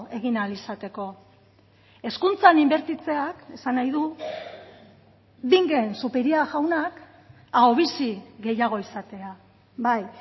egin ahal izateko hezkuntzan inbertitzeak esan nahi du bingen zupiria jaunak ahobizi gehiago izatea bai